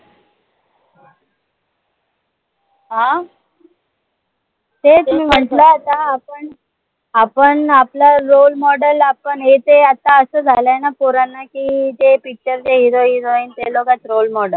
अं तेच मी म्हंटल आता आपण आपण आपलं role model आपण हे ते आता असं झालाय न पोरांना की, ते पिच्चरचे hero, heroine तेलोकच role model